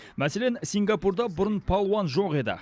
мәселен сингапурда бұрын палуан жоқ еді